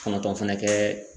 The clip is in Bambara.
Kɔnɔntɔn fɛnɛ kɛ